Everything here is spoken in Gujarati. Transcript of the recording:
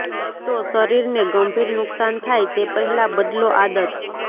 તો શરીરને ગંભીર નુકસાન થાય તે પહેલાં બદલો આદત